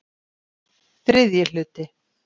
III hluti